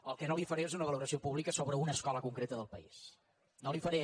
el que no li faré és una valoració pública sobre una escola concreta del país no la hi faré